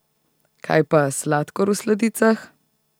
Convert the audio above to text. Kaj pa sladkor v sladicah?